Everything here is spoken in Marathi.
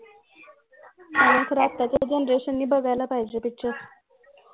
खरं आत्ताच्या generation ने बघायला पाहिजे picyure